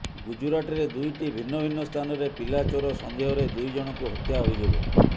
ଗୁଜରାଟରେ ଦୁଇଟି ଭିନ୍ନ ଭିନ୍ନ ସ୍ଥାନରେ ପିଲାଚୋର ସନ୍ଦେହରେ ଦୁଇଜଣଙ୍କୁ ହତ୍ୟା ଅଭିଯୋଗ